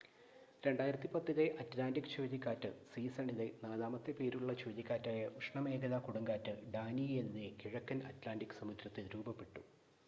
2010-ലെ Atlantic ചുഴലിക്കാറ്റ് സീസണിലെ നാലാമത്തെ പേരുള്ള ചുഴലിക്കാറ്റായ ഉഷ്ണമേഖലാ കൊടുങ്കാറ്റ് ഡാനിയെല്ലെ കിഴക്കൻ അറ്റ്ലാൻ്റിക് സമുദ്രത്തിൽ രൂപപ്പെട്ടു